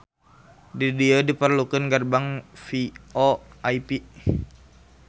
Di dieu diperlukeun gerbang VoIP